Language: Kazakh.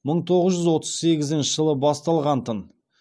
мың тоғыз жүз отыз сегізінші жылы басталғантын